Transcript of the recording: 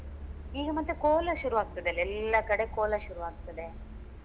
ಈಗ ಮತ್ತೆ ಕೋಲ ಶುರುವಾಗ್ತದಲ್ಲ ಎಲ್ಲ ಕಡೆ ಕೋಲ ಶುರುವಾಗ್ತದೆ.